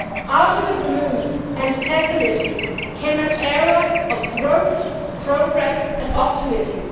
Out of the gloom and pessimism came an era of growth, progress and optimism.